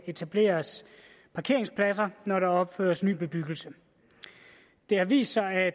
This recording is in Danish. etableres parkeringspladser når der opføres ny bebyggelse det har vist sig at